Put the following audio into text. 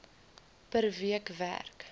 per week werk